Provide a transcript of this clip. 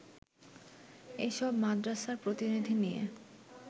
এসব মাদ্রাসার প্রতিনিধি নিয়ে